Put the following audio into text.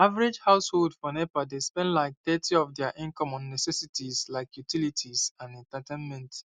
average household for nepa dey spend like thirty of dia income on necessities like utilities and entertainment